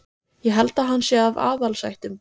Ég held að hann sé af aðalsættum.